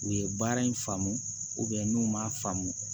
U ye baara in faamu n'u ma faamu